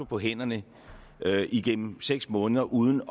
på hænderne igennem seks måneder uden